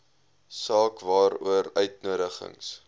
saak waaroor uitnodigings